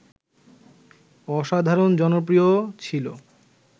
অসাধারণ জনপ্রিয় ছিল